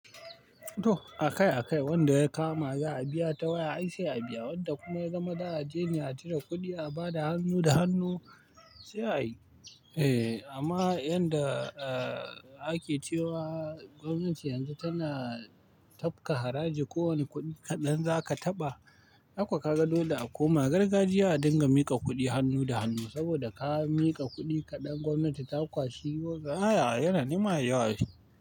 To akai-akai wanda ya kama za a biya ta waya ai sai a biya, wanda kuma ya zama za a jene a cire kuɗi a ba da hannu da hannu sai a yi. Eh amma yanda ah ake cewa gwamnati yanzu tana tapka haraji kowane kuɗi kaɗan za ka taɓa, ai kuwa ka ga dole a koma gargajiya a dinga mika kuɗi hannu da hannu saboda ka miƙa kuɗi kaɗan gwamnati ta kwashi wagga. Ayaya yana nema a yawa shi.